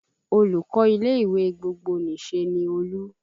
Olùkọ́ ilé ìwé gbogbonìṣe ni Olú